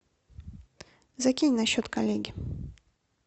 закинь на счет коллеги